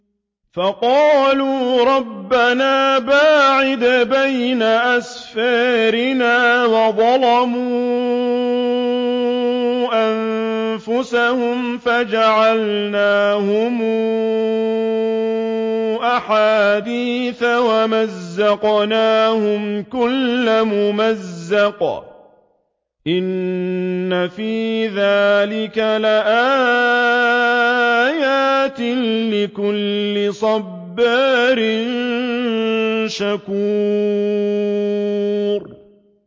فَقَالُوا رَبَّنَا بَاعِدْ بَيْنَ أَسْفَارِنَا وَظَلَمُوا أَنفُسَهُمْ فَجَعَلْنَاهُمْ أَحَادِيثَ وَمَزَّقْنَاهُمْ كُلَّ مُمَزَّقٍ ۚ إِنَّ فِي ذَٰلِكَ لَآيَاتٍ لِّكُلِّ صَبَّارٍ شَكُورٍ